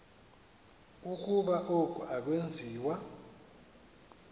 ukuba oku akwenziwa